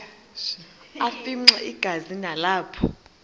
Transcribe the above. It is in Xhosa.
afimxa igazi nalapho